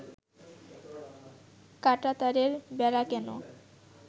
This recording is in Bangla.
কাঁটাতারের বেড়া কেন